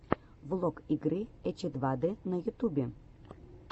влог игры эчедвадэ на ютубе